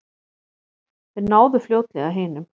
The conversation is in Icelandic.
Þeir náðu fljótlega hinum.